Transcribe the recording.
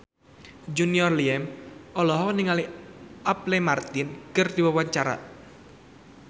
Junior Liem olohok ningali Apple Martin keur diwawancara